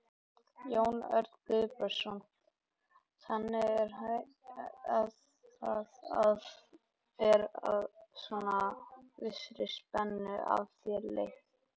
Jón Örn Guðbjartsson: Þannig að það er svona vissri spennu af þér létt?